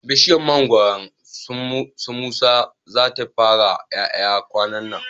Bishiyar mangoron su musa za ta fara ƴaƴa kwanannan